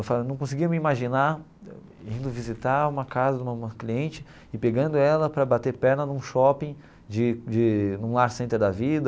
Eu falava não conseguia me imaginar indo visitar uma casa de uma uma cliente e pegando ela para bater perna num shopping de de, num Lar Center da vida.